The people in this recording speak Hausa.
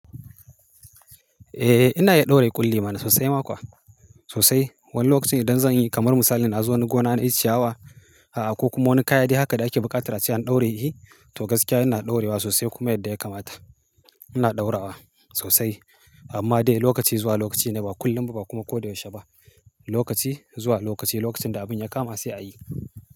Eh ina iya ɗaure ƙulli mana sosai ma kuwa, sosai. Wani lokaci idan zan yi kamar misali na zo wani gona na yi ciyawa, a'a ko kuma wani kayan dai haka da ake buƙatar a ce an ɗaure yi, to gaskiya ina ɗaurewa sosai kuma yadda ya kamata. Ina ɗaura wa sosai. Amma dai lokaci zuwa lokaci ne ba kullum ba kuma ko da yaushe ba. Lokaci zuwa lokaci, lokacin da abin ya kama sai a yi.